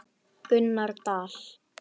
Gunnar Dal.